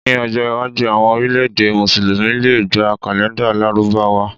Ní ọjọ́ iwájú, àwọn orílẹ̀-èdè Mùsùlùmí lè gba kàlèńdà Lárúbáwá.